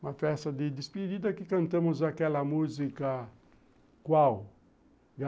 Uma festa de despedida que cantamos aquela música... Qual.